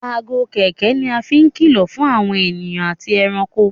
Aago kẹ̀kẹ́ ní a fín kìlọ fún àwọn ènìyàn àti ẹranko.